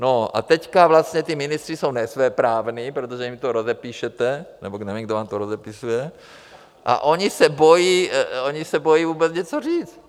No a teď vlastně ti ministři jsou nesvéprávní, protože jim to rozepíšete, nebo nevím, kdo vám to rozepisuje, a oni se bojí vůbec něco říct.